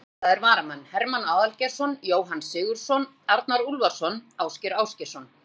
Ónotaðir varamenn: Hermann Aðalgeirsson, Jóhann Sigurðsson, Arnar Úlfarsson, Ásgeir Ásgeirsson.